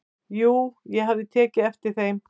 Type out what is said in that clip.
"""Jú, ég hafði tekið eftir þeim."""